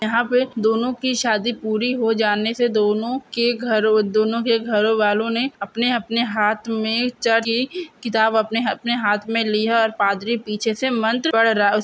यहाँ पे दोनों की शादी पूरी हो जाने से दोनों के घरों दोनों के घरों घरवालों ने अपने अपने हाथ में किताब अपने हाथ में लिया और पादरी पीछे से मंत्र पढ़ रहा है। उस --